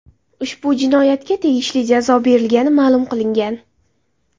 Ushbu jinoyatga tegishli jazo berilgani ma’lum qilingan.